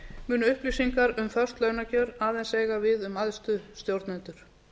munu upplýsingar um föst launakjör aðeins eiga við um æðstu stjórnendur